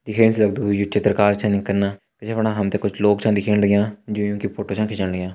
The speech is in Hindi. दिखेण से लगदु यु चित्रकारी छिन कना पिछाड़ी बिटि हम त कुछ लोग छ दिखेण लग्यां जो योंकि फोटो छ खिचण लग्यां।